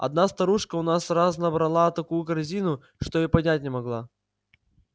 одна старушка у нас раз набрала такую корзину что и поднять не могла